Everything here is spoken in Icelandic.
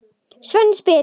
Sveinn spyr: